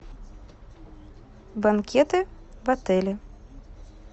банкеты в отеле